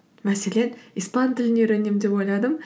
мәселен испан тілін үйренемін деп ойладым